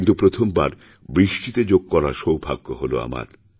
কিন্তু প্রথমবার বৃষ্টিতে যোগ করার সৌভাগ্য হল আমার